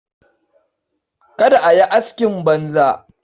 Kada ka yi askin banza.